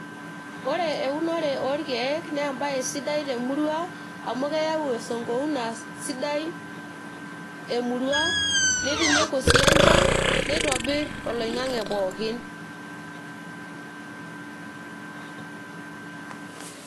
ore eunore oo irkeek naa ebae sidai temurua amu keyau esng'ouna sidai emurua, nitinyuku sii enchan, neitobir oloing'ang'e pooki.